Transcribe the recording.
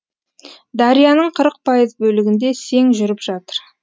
дарияның қырық пайыз бөлігінде сең жүріп жатыр